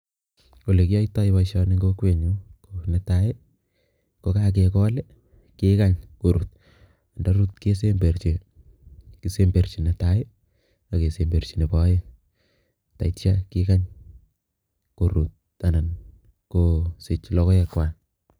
Ole kiyaitoi boisioni eng kokwenyun ko netai, kokakekol kekany koruut, ndaruut kesemberchi, kesemberchi netai ak kesemberchi nebo aeng tetyo kikany koruut anan kosich logoek kwai.